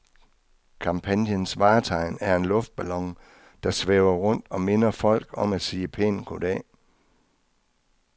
Kampagnens vartegn er en luftballon, der svæver rundt og minder folk om at sige pænt goddag.